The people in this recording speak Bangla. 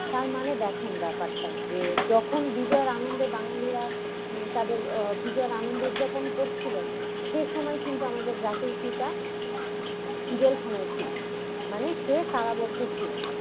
তার মানে দেখেন ব্যাপারটা যে যখন বিজয়ের আনন্দে বাঙালীরা উম তাদের বিজয়ের আনন্দ উদযাপন করছিলেন সে সময় কিন্তু আমাদের জাতির পিতা জেলখানায় ছিলেন মানে সে কারাবদ্ধ ছিলেন।